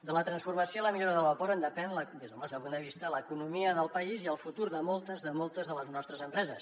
de la transformació i la millora de l’aeroport en depèn des del nostre punt de vista l’economia del país i el futur de moltes de moltes de les nostres empreses